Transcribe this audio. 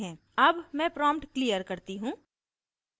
अब मैं prompt clear करती हूँ